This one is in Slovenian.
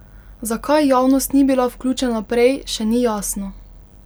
Zakaj javnost ni bila vključena prej, še ni jasno.